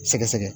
Sɛgɛsɛgɛ